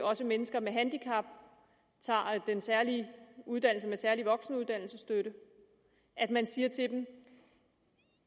også mennesker med handicap tager den særlige uddannelse med særlig voksenuddannelsesstøtte at man siger til dem